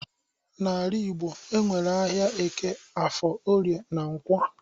N'ala igbo enwere ahịa eke, afọ, orie na nkwọ